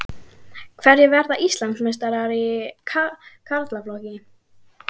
Hverjir verða Íslandsmeistarar í karlaflokki?